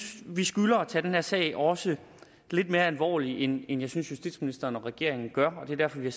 vi skylder at tage den her sag også lidt mere alvorligt end jeg synes justitsministeren og regeringen gør og at det er derfor vi